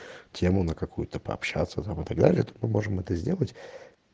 тему на какую-то пообщаться там и так далее то мы можем это сделать